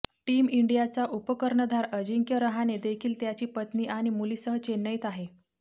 team इंडियाचा उपकर्णधार अजिंक्य रहाणे देखील त्याची पत्नी आणि मुलीसह चेन्नईत आहे